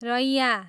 रैँया